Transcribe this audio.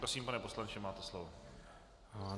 Prosím, pane poslanče, máte slovo.